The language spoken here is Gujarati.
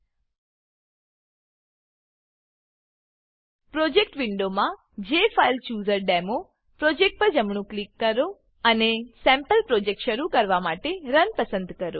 પ્રોજેક્ટ પ્રોજેક્ટ વિન્ડોમાં જેફાઇલચૂઝરડેમો પ્રોજેક્ટ પર જમણું ક્લિક કરો અને સેમ્પલ પ્રોજેક્ટ શરુ કરવા માટે રન રન પસંદ કરો